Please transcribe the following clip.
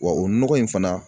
Wa o nɔgɔ in fana